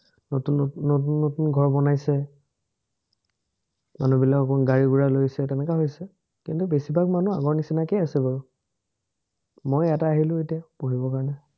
নতুন নতুন নতুন ঘৰ বনাইছে। মানুহবিলাক অকণমান গাড়ী-গুৰা লৈছে, তেনেকা হৈছে। কিন্তু, বেছিভাগ মানুহ আগৰ নিচিনাকে আছে বাৰু। মই ইয়াতে আহিলো এতিয়া পঢ়িবৰ কাৰণে